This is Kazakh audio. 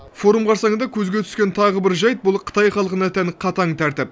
форум қарсаңында көзге түскен тағы бір жайт бұл қытай халқына тән қатаң тәртіп